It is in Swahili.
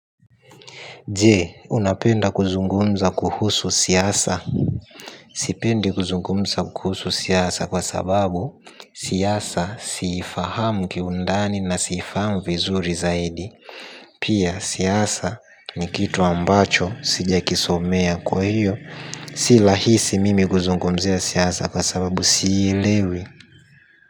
Je? Unapenda kuzungumza kuhusu siasa? Sipendi kuzungumza kuhusu siasa kwa sababu siasa siifahamu kiundani na siifahamu vizuri zaidi. Pia siasa ni kitu ambacho sijakisomea kwa hiyo si lahisi mimi kuzungumzia siasa kwa sababu siilewi.